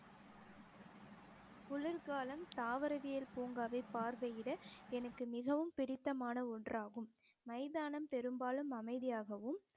குளிர்காலம் தாவரவியல் பூங்காவை பார்வையிட எனக்கு மிகவும் பிடித்தமான ஒன்றாகும் மைதானம் பெரும்பாலும் அமைதியாகவும்